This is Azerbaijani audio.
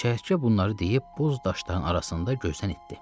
Çəyirtkə bunları deyib boz daşların arasında gözdən itdi.